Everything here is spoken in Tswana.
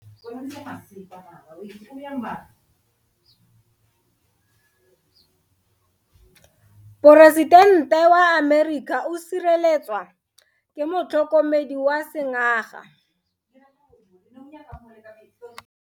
Poresitente wa Amerika o sireletswa ke motlhokomedi wa sengaga.